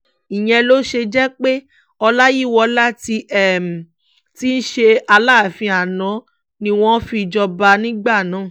ìyẹn ló ṣe jẹ́ pé ọláyíwọlá tí í ṣe aláàfin àná ni wọ́n fi jọba nígbà náà